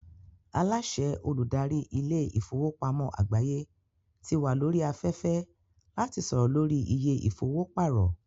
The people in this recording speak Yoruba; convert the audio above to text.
Aláàsẹ Olùdarí ilé ìfowópamọ́ àgbáyé ti wà lórí afẹ́fẹ́ láti sọ̀rọ̀ lórí iye ìfowó pàrọ̀